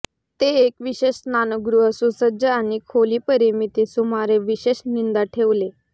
ते एक विशेष स्नानगृह सुसज्ज आणि खोली परिमिती सुमारे विशेष निंदा ठेवले